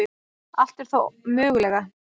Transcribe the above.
Allt er þó mögulega